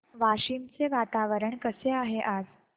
वाशिम चे वातावरण कसे आहे आज